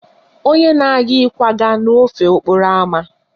Onye na-aga ịkwaga n'ofe okporo ámá